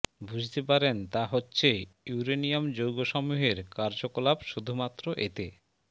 বুঝতে পারেন তা হচ্ছেঃ ইউরেনিয়াম যৌগ সমূহের কার্যকলাপ শুধুমাত্র এতে